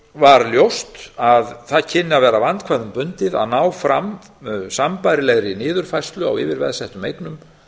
var ljóst að það kynni að vera vandkvæðum bundið að ná fram sambærilegri niðurfærslu á yfirveðsettum eignum